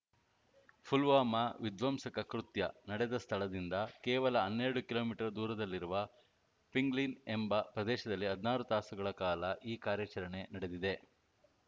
ಪುಲ್ವಾಮಾ ವಿಧ್ವಂಸಕ ಕೃತ್ಯ ನಡೆದ ಸ್ಥಳದಿಂದ ಕೇವಲ ಹನ್ನೆರಡು ಕಿಲೋ ಮೀಟರ್ ದೂರದಲ್ಲಿರುವ ಪಿಂಗ್ಲಿನ್‌ ಎಂಬ ಪ್ರದೇಶದಲ್ಲಿ ಹದ್ನಾರು ತಾಸುಗಳ ಕಾಲ ಈ ಕಾರ್ಯಾಚರಣೆ ನಡೆದಿದೆ